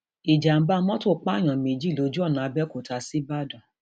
ìjàḿbà mọtò pààyàn méjì lójú ọnà àbẹọkúta ṣígbàdàn